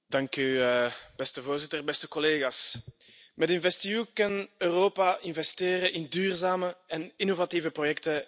Voorzitter, beste collega's, met InvestEU kan Europa investeren in duurzame en innovatieve projecten en ondernemingen.